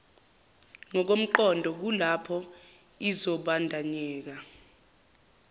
ngokomqondo kulapho izobandanyeka